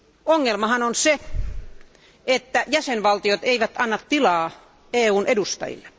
Ongelmahan on se, että jäsenvaltiot eivät anna tilaa EUn edustajille.